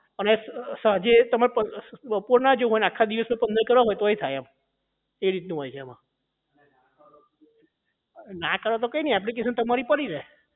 અને સાંજે તમારે બપોર ના આખા દિવસ ના તમારે પંદર કરવા હોય તોય થાય એ રીતનું હોય છે એમાં ના કરો તો કઈ નહીં એપ્લિકેશન તમારી પડી રહે